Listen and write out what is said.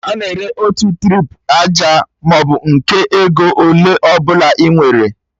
A na-ere otu trip aja maọbụ nke ego ole ọbụla ị nwere